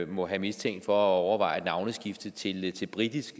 må have mistænkt for at overveje et navneskifte til til britisk